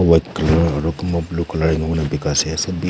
white colour aru kunba blue colour enika kurina dekhi ase sid--